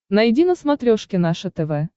найди на смотрешке наше тв